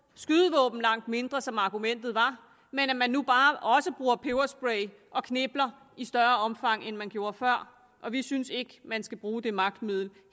skydevåben langt mindre som argumentet var men at man nu bare også bruger peberspray og knipler i større omfang end man gjorde før vi synes ikke at man skal bruge det magtmiddel